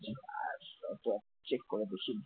check করে দেখেনি ।